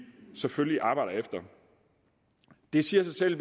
selvfølgelig arbejder efter det siger sig selv